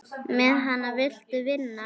Með hana viltu vinna.